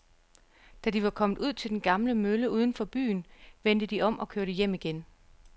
Da de var kommet ud til den gamle mølle uden for byen, vendte de om og kørte hjem igen.